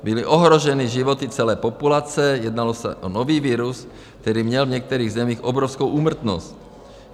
Byly ohroženy životy celé populace, jednalo se o nový virus, který měl v některých zemích obrovskou úmrtnost.